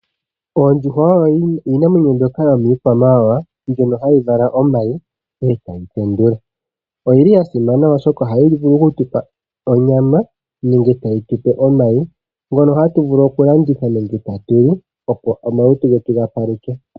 Oondjuhwa oyo iinamwenyo mbyoka yomikwamawawa mbyono hayi vala omayi ndele etadhi tende. Oyili ya simana oshoka ohayi vulu okutupa onyama nenge tayi tupe omayi ngono hatu vulu okulanditha nenge tatu li opo omalutu getu ga paluthwe.